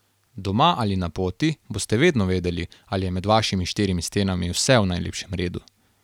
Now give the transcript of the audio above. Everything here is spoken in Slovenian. Doma ali na poti boste vedno vedeli, ali je med vašimi štirimi stenami vse v najlepšem redu.